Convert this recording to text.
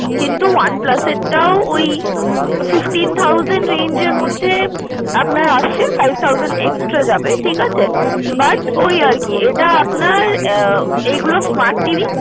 কিন্তু OnePlus এর টা ওই fifteen thousand range এর মধ্যে আপনার আসছে five thousand extra যাবে, ঠিকাছে but ওই আর কি এটা আপনার এগুলো smart TV